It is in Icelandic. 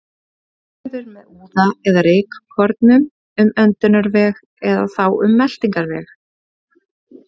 Smit verður með úða eða rykkornum um öndunarveg eða þá um meltingarveg.